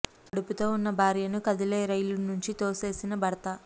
కడుపుతో ఉన్న భార్యను కదిలే రైలులో నుంచి తోసేసిన భర్త